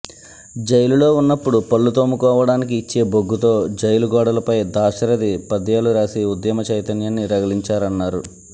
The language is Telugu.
జైలులో ఉన్నప్పుడు పళ్లు తోముకోవడానికి ఇచ్చే బొగ్గుతో జైలు గోడలపై దాశరథి పద్యాలు రాసి ఉద్యమ చైతన్యాన్ని రగిలించారన్నారు